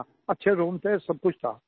अच्छे रूम थे सबकुछ था